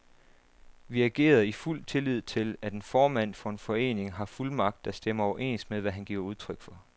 Vi agerede i fuld tillid til, at en formand for en forening har fuldmagt, der stemmer overens med, hvad han giver udtryk for.